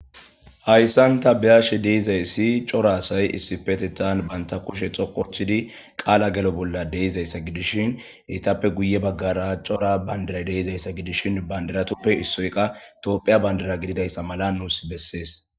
hayssanta biyashe deizayssi cora asay issifeti taan banta kushe xokochidi qaala gelo bolla deizayssa gidishin itappe guye baggara cora bandira deizayssa gidishin bandiratoppe issoyqa toophiya bandira gididayssa mala nuus bessees